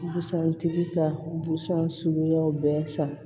Busan tigi ka busan suguyaw bɛɛ fa